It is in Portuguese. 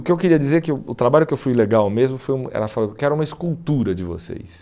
O que eu queria dizer é que o o trabalho que eu fui legal mesmo, foi um ela falou: eu quero uma escultura de vocês.